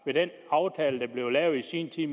med den aftale der i sin tid